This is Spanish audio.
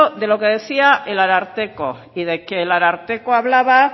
de lo que decía el ararteko y de que el ararteko hablaba